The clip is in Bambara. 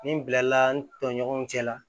Ni n bilala n tɔɲɔgɔnw cɛ la